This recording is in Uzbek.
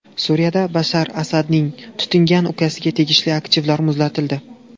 Suriyada Bashar Asadning tutingan ukasiga tegishli aktivlar muzlatildi.